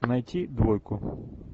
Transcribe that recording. найти двойку